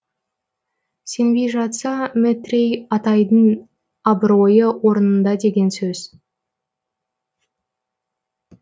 сенбей жатса метрей атайдың абыройы орнында деген сөз